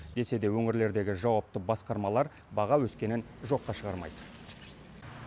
десе де өңірлердегі жауапты басқармалар баға өскенін жоққа шығармайды